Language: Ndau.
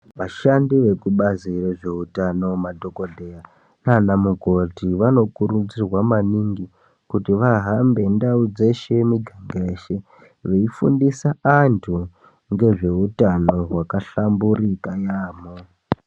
Vashandi vekubazi rezveutano, madhokodheya naana mukoti, vanokurudzirwa maningi kuti vahambe ndau dzeshe miganga yeshe, veifundisa antu ngezveutano hwakahlamburika yaamho .